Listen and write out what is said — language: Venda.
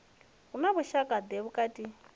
hu na vhushaka ḓe vhukati